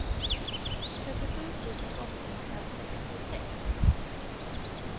trettiosju tusen åttahundrasextiosex